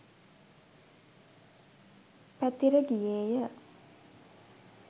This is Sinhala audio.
පැතිර ගියේ ය.